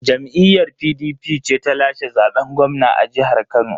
Jam'iyyar PDP ce ta lashe zaben gwamna a jihar Kano.